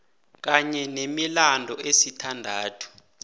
kanye nemilandu esithandathu